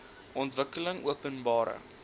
ontwikkelingopenbare